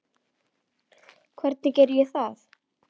Hvernig geri ég það?